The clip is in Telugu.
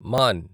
మాన్